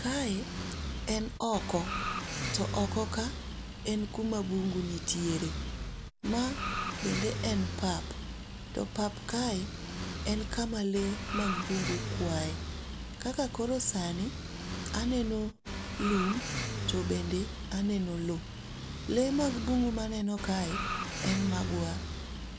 Kae en oko, to oko ka en kuma bungu nitiere. Ma bende en papa, to pap kae en kama le mag bungu kwae, kaka koro sani aneno lum to bende aneno lowo. Le mag bungu ma aneno kae en magwar.